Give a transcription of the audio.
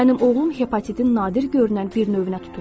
Mənim oğlum hepatitin nadir görünən bir növünə tutulub.